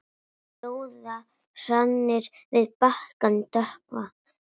Ljóða hrannir við bakkann dökkva.